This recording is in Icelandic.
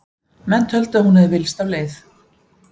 Menn töldu að hún hefði villst af leið.